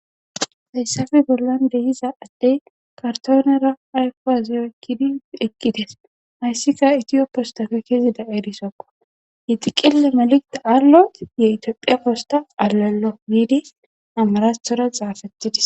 Hayssafe bollan dehiza addey kartoonera aykwaziyoykidi ekkites hayssika itiyop postafe kezida eerisokko yexiqille maliqida arlo yetiophiya kosta allonno giidi amarathora xaafettidis